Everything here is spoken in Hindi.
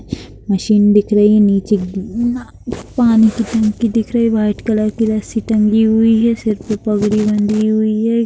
मशीन दिख रही है नीचे ना पानी की टंकी दिख रही है वाइट कलर की रस्सी टंगी हुई है सिर पर पगड़ी बंधी हुई है।